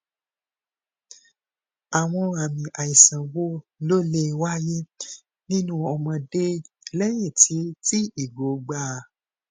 ikun won kere atipe ounje um na je ora na je ora ibi eto ounjẹ yara